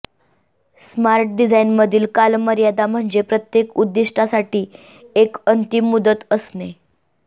smart डिझाइनमधील कालमर्यादा म्हणजे प्रत्येक उद्दिष्टासाठी एक अंतिम मुदत असणे